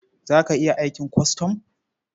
Za ka iya aikin kwastam?